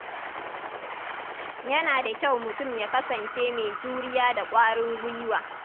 Yana da kyau mutum ya kasance mai juriya da ƙwarin gwiwa.